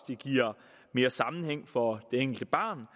det giver mere sammenhæng for det enkelte barn